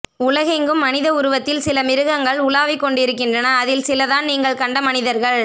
உலகெங்ககும் மனித உருவத்தில் சில மிருகங்கள் உலாவிக் கொண்டிருக்கின்றன அதில் சிலதான் நீங்கள் கண்ட மனிதர்கள்